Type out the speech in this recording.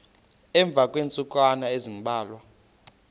emva kweentsukwana ezimbalwa